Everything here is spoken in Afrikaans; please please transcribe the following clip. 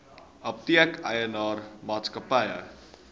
apteek eienaar maatskappy